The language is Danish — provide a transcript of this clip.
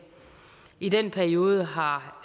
i den periode har